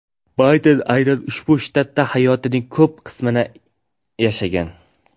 Bayden aynan ushbu shtatda hayotining ko‘p qismini yashagan.